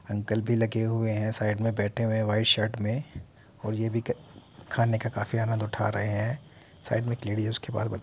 uncle भी लगे हुए है साइड में बैठे हुए हैं व्हाइट शर्ट में और ये भी खाने का काफी आनंद उठा रहें है | साइड में एक लेडी है उसके बाल --